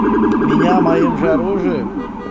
меня моим же оружием